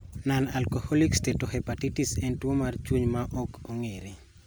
Nonalcoholic steatohepatitis en tuo mar chuny maok ong`ere.